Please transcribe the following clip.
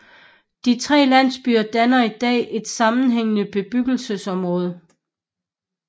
De tre landsbyer danner i dag et sammenhængende bebyggelseområde